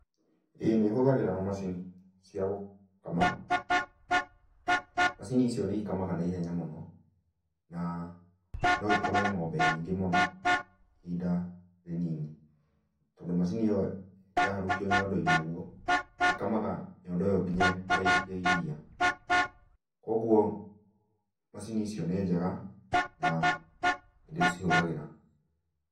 ĩĩ nĩ hũthagĩra macini cia gũkama. Macini icio nĩikamaga na ihenya mũno na no ikame ng'ombe nyingĩ mũno ihinda rĩnini tondũ macini ĩyo yaharũkio nyondo-inĩ ũguo ĩkamaga nyondo ĩyo nginya ĩkarĩkia iria. Koguo macini icio nĩ njega na nĩndĩcihũthagĩra.